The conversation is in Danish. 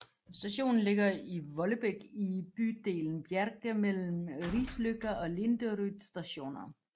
Stationen ligger i Vollebekk i bydelen Bjerke mellem Risløkka og Linderud Stationer